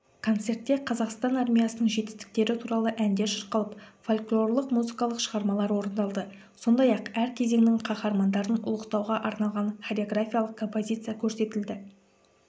концертте қазақстан армиясының жетістіктері туралы әндер шырқалып фольклорлық музыкалық шығармалар орындалды сондай-ақ әр кезеңнің қаһармандарын ұлықтауға арналған хореграфиялық композиция көрсетілді